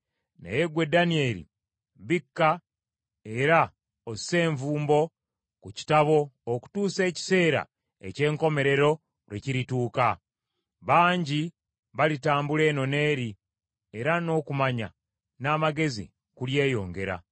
Naye ggwe Danyeri, bikka era osse envumbo ku kitabo okutuusa ekiseera eky’enkomerero lwe kirituuka. Bangi balitambula eno n’eri, era n’okumanya n’amagezi kulyeyongera.”